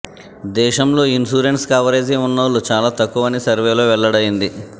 దేశంలో insurance coverage ఉన్నోళ్లు చాలా తక్కువ అని సర్వేలో వెల్లడైంది